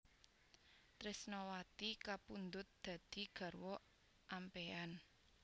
Tresnawati kapundhut dadi garwa ampéyan